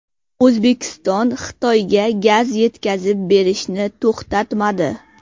O‘zbekiston Xitoyga gaz yetkazib berishni to‘xtatmadi.